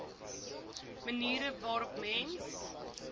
maniere waarop mens